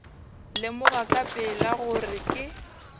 lemoga ka pela gore ke